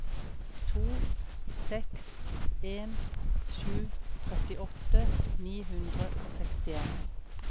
to seks en sju trettiåtte ni hundre og sekstien